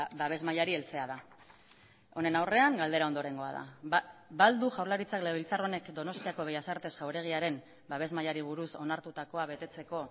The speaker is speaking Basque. babes mailari heltzea da honen aurrean galdera ondorengoa da ba al du jaurlaritzak legebiltzar honek donostiako bellas artes jauregiaren babes mailari buruz onartutakoa betetzeko